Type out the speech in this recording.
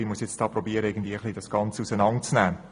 Nun muss ich versuchen, das Ganze auseinanderzunehmen.